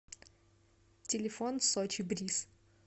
телефон сочи бриз